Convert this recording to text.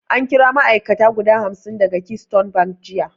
An kari ma'ai'kata guda hamsin daga keystone bank jiya